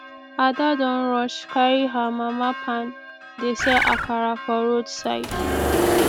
ada don rush carry her mama pan dey sell akara for roadside